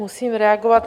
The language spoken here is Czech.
Musím reagovat.